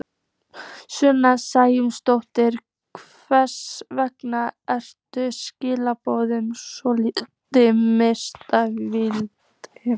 Sunna Sæmundsdóttir: Hvers vegna eru skilaboðin svona misvísandi?